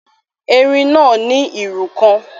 Erin náà ní irú kan.